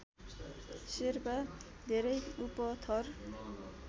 शेर्पा धेरै उपथर